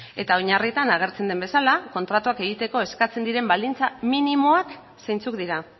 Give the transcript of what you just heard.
eta oinarrietan agertzen den bezala kontratuak egiteko eskatzen diren baldintzak minimoak zeintzuk dira